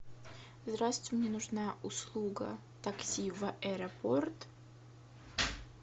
здравствуйте мне нужна услуга такси в аэропорт